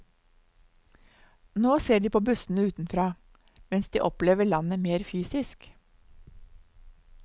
Nå ser de på bussene utenfra, mens de opplever landet mer fysisk.